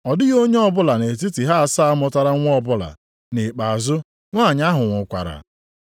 Ọ dịghị onye ọbụla nʼetiti ha asaa mụtara nwa ọbụla, nʼikpeazụ nwanyị ahụ nwụkwara.